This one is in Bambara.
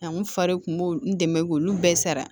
A n fari kun b'o n dɛmɛ k'olu bɛɛ sara